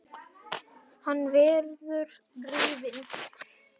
Hann verður rifinn.